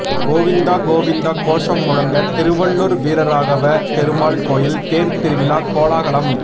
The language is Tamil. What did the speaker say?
கோவிந்தா கோவிந்தா கோஷம் முழங்க திருவள்ளூர் வீரராகவ பெருமாள் கோயில் தேர் திருவிழா கோலாகலம்